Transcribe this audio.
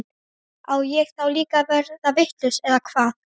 Á ég þá líka að verða vitlaus eða hvað?